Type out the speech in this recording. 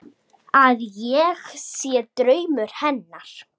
Að ég sé draumur hennar.